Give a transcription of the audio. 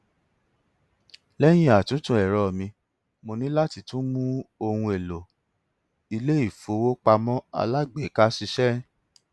lẹyìn àtúntò ẹrọ mi mo ní láti tún mú ohun èlò iléifowópamọ alágbèéká ṣiṣẹ